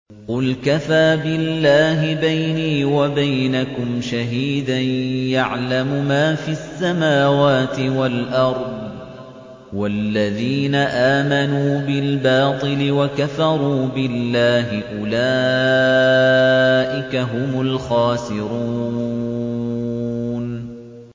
قُلْ كَفَىٰ بِاللَّهِ بَيْنِي وَبَيْنَكُمْ شَهِيدًا ۖ يَعْلَمُ مَا فِي السَّمَاوَاتِ وَالْأَرْضِ ۗ وَالَّذِينَ آمَنُوا بِالْبَاطِلِ وَكَفَرُوا بِاللَّهِ أُولَٰئِكَ هُمُ الْخَاسِرُونَ